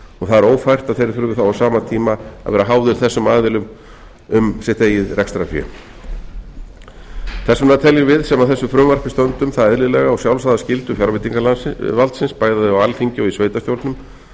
og það er ófært að þeir þurfi þá á sama tíma að vera háðir þessum aðilum um sitt eigið rekstrarfé þess vegna teljum við sem að þessu frumvarpi stöndum það eðlilega og sjálfsagða fjárveitinga valdsins bæði á alþingi og í sveitarstjórnum